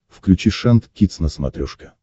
включи шант кидс на смотрешке